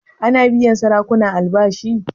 Ana biyan sarakuna albashi?